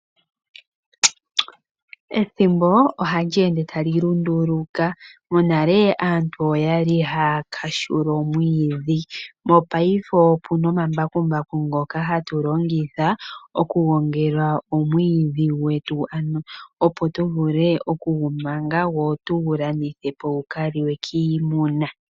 Ethimbo ohali ende tali lunduluka, monale aantu oyali haya kahula omwidhi mopaife opuna omambakumbaku ngoka hatu longitha okugongela omwidhi gwetu ano opo tuvule okugumanga tse tugu landithe po gukaliwe kiimuna.